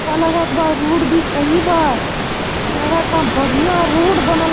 अच्छा लगत बा और रोड भी सही बा| लगता बढ़ियाँ रोड बनल --